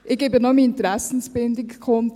Ich tue noch meine Interessensbindung kund: